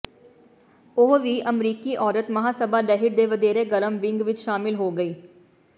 ਉਹ ਵੀ ਅਮਰੀਕੀ ਔਰਤ ਮਹਾਸਭਾ ਲਹਿਰ ਦੇ ਵਧੇਰੇ ਗਰਮ ਵਿੰਗ ਵਿੱਚ ਸ਼ਾਮਲ ਹੋ ਗਈ